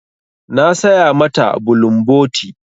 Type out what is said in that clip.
Na saya ma ta bulumboti.